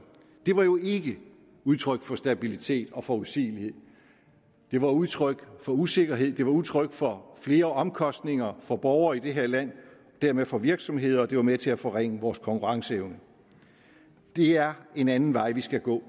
det var jo ikke udtryk for stabilitet og forudsigelighed det var udtryk for usikkerhed det var udtryk for flere omkostninger for borgere i det her land og dermed for virksomheder og det var med til at forringe vores konkurrenceevne det er en anden vej vi skal gå